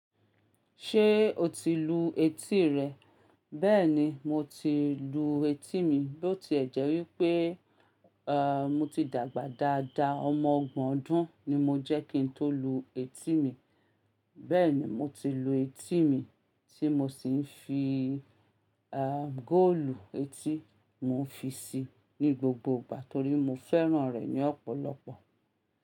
Ṣé o ti lu etí rẹ? Bẹ́ẹ̀ni, mo ti lu etí mi, bó ti ẹ̀ jẹ́ wípé àwọn mo ti dàgbà dáadáa. Ọmọ ọgbọ̀n ọdún ni mo jẹ́ kí n tó lu etí mi. Bẹ́ẹ̀ ni mo ti lu etí mi tí mo sì ń fi ìhà góòlù etí. Mo fi sí i ní gbogbo ìgbà torí mo fẹ́ràn rẹ̀ ní ọ̀pọ̀lọpọ̀.